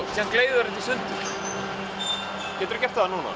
í sundur geturðu gert það núna